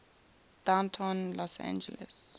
downtown los angeles